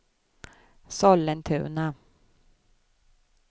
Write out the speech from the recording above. Sollentuna